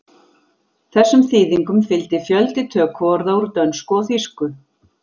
Þessum þýðingum fylgdi fjöldi tökuorða úr dönsku og þýsku.